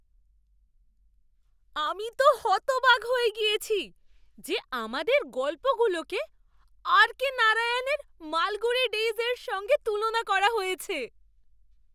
আমি তো হতবাক হয়ে গিয়েছি যে আমাদের গল্পগুলোকে আর কে নারায়ণের মালগুড়ি ডেইজ এর সঙ্গে তুলনা করা হয়েছে!